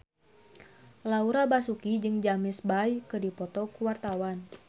Laura Basuki jeung James Bay keur dipoto ku wartawan